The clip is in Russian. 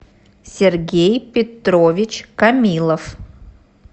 сергей петрович камилов